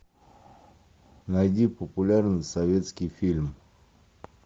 найди популярный советский фильм